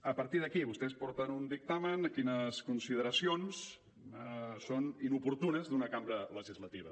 a partir d’aquí vostès porten un dictamen les consideracions del qual són inoportunes d’una cambra legislativa